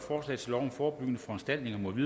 eller imod